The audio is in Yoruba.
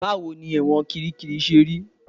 Báwo ni ẹ̀wọ̀n kiríkirì ṣe rí?